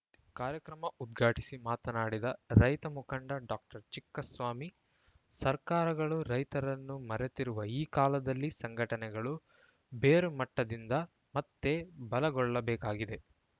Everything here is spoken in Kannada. ಕಾರ್ಯಕ್ರಮ ಉದ್ಘಾಟಿಸಿ ಮಾತನಾಡಿದ ರೈತ ಮುಖಂಡ ಡಾಕ್ಟರ್ ಚಿಕ್ಕಸ್ವಾಮಿ ಸರ್ಕಾರಗಳು ರೈತರನ್ನು ಮರೆತಿರುವ ಈ ಕಾಲದಲ್ಲಿ ಸಂಘಟನೆಗಳು ಬೇರುಮಟ್ಟದಿಂದ ಮತ್ತೆ ಬಲಗೊಳ್ಳಬೇಕಾಗಿದೆ